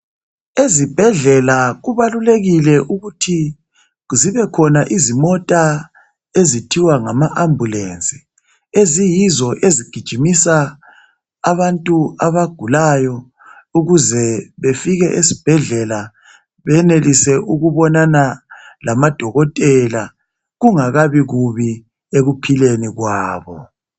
Ezibhedlela kubalulekile ukuthi zibe khona izimota ezithiwa ngama ambulensi eziyizo ezigijimisa abantu abagulayo ukuze befike esibhedlela benelise ukubonana lamadokotela kungakabi kubi ekuphileni kwabo.